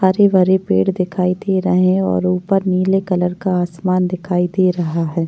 हरे भरे पेड़ दिखाई दे रहे है और उपर नीले कलर का आसमान दिखाई दे रहा है।